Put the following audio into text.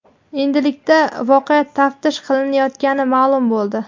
Endilikda voqea taftish qilinayotgani ma’lum bo‘ldi.